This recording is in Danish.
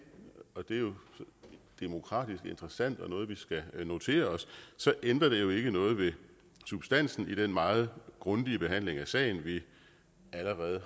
og det er jo demokratisk interessant og noget vi skal notere os ændrer det jo ikke noget ved substansen i den meget grundige behandling af sagen vi allerede